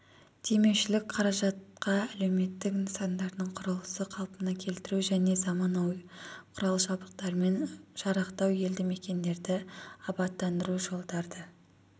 демеушілік қаражатқа әлеуметтік нысандардың құрылысы қалпына келтіру және заманауи құрал-жабдықтармен жарақтау елді мекендерді абаттандыру жолдарды